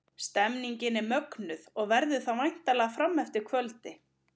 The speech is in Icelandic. Stemningin er mögnuð og verður það væntanlega fram eftir kvöldi!